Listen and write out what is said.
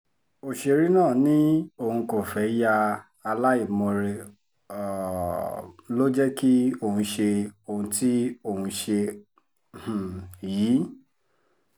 ọ̀sẹ̀rẹ̀ náà ni òun kò fẹ́ẹ́ ya aláìmoore um ló jẹ́ kí òun ṣe ohun tí òun ṣe um yìí